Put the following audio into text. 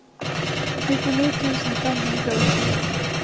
nittini tusen fem hundre og tjue